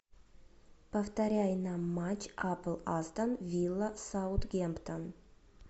повторяй нам матч апл астон вилла саутгемптон